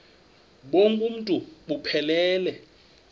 bonk uuntu buphelele